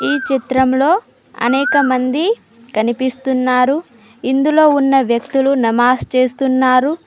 ఈ చిత్రంలో అనేకమంది కనిపిస్తున్నారు ఇందులో ఉన్న వ్యక్తులు నమాజ్ చేస్తున్నారు.